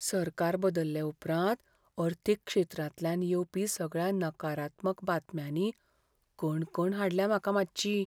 सरकार बदल्ले उपरांत अर्थीक क्षेत्रांतल्यान येवपी सगळ्या नकारात्मक बातम्यांनी कणकण हाडल्या म्हाका मातशी.